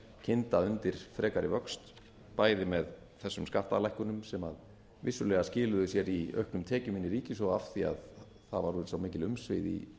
kynda undir frekari vöxt bæði með þessum skattalækkunum sem vissulega skiluðu sér í auknum tekjum inn í ríkissjóð af því það voru svo mikil umsvif í